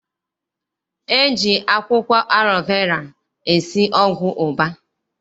E ji akwụkwọ alọ vera esi ọgwụ ụba.